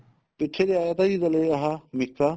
ਪਿੱਛੇ ਵੀ ਆਇਆ ਤਾ ਜੀ ਆਹ ਮਿੱਕਾ